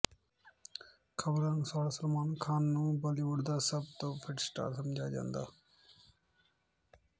ਖ਼ਬਰਾਂ ਅਨੁਸਾਰ ਸਲਮਾਨ ਖ਼ਾਨ ਨੂੰ ਬੁਲੀਵੁੱਡ ਦਾ ਸਭ ਤੋਂ ਫਿਟ ਸਟਾਰ ਸਮਝਿਆ ਜਾਂਦਾ